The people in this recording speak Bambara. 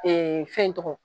fɛn in tɔgɔ.